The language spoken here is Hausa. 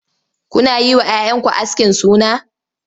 Kuna yi wa 'ya 'yanku askin suna?